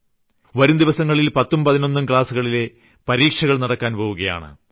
വരുംദിവസങ്ങളിൽ പത്തും പതിനൊന്നും ക്ലാസ്സുകളിലെ പരീക്ഷകൾ നടക്കാൻ പോകുകയാണ്